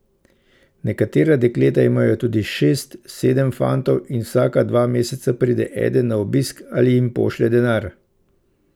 Nekatera dekleta imajo tudi šest, sedem fantov in vsaka dva meseca pride eden na obisk ali jim pošlje denar.